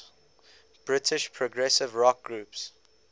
british progressive rock groups